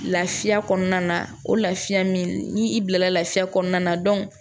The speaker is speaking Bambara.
Lafiya kɔnɔna na o lafiya min n'i bilala lafiya kɔnɔna na